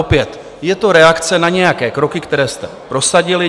Opět je to reakce na nějaké kroky, které jste prosadili.